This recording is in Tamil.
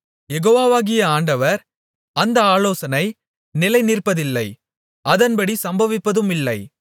யெகோவாவாகிய ஆண்டவர் அந்த ஆலோசனை நிலைநிற்பதில்லை அதின்படி சம்பவிப்பதுமில்லை